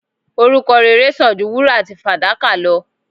Orúkọ rere sàn ju wúrà àti fàdákà lọ